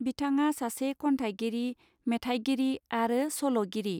बिथाङा सासे खन्थाइगिरि मेथायगिरि आरो सल गिरि.